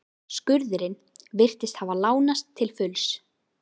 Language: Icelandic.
Skurðurinn virtist hafa lánast til fulls.